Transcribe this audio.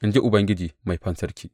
in ji Ubangiji Mai Fansarki.